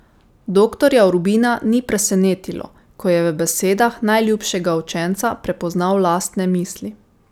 Doktorja Urbina ni presenetilo, ko je v besedah najljubšega učenca prepoznal lastne misli.